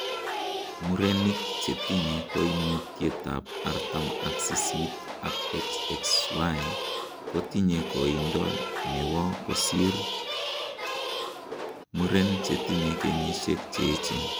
Muren chetinye koimutietab artam ak sisit ak XXY ko tinye koindo newo kosir muren chetinye kenyisiek cheoechin.